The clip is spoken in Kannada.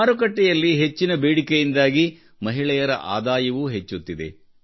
ಮಾರುಕಟ್ಟೆಯಲ್ಲಿ ಹೆಚ್ಚಿನ ಬೇಡಿಕೆಯಿಂದಾಗಿ ಮಹಿಳೆಯರ ಆದಾಯವೂ ಹೆಚ್ಚುತ್ತಿದೆ